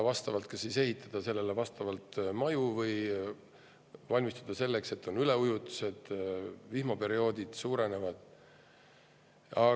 Maju tuleks ehitada sellele vastavalt või valmistuda selleks, et on üleujutused ja vihmaperioodid.